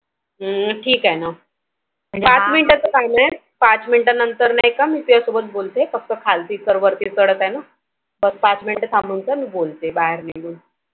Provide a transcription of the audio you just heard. ठीक आहे ना पाच Minute च काम आहे पाच Minute नंतर नाही का मी तुझ्या सोबत बोलते. फक्त खालती Sir वरती चढत आहे ना. पाच Minute थाम्बुन जा मी बोलते बाहेर निघून